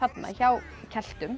hjá